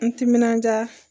N timinandiya